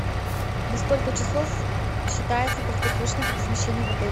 на сколько часов считается краткосрочное размещение в отеле